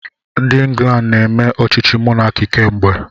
Ndị England na-eme ọchịchị mọnaki kemgbe.